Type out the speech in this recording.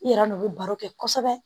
I yɛrɛ n'u bɛ baro kɛ kosɛbɛ